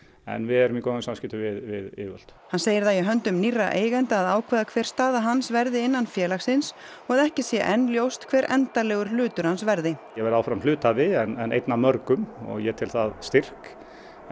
en við erum í góðum samskiptum við yfirvöld hann segir það í höndum nýrra eigenda að ákveða hver staða hans verði innan félagsins og að ekki sé enn ljóst hver endanlegur hlutur hans verði ég verð áfram hluthafi en einn af mörgum og ég tel það styrk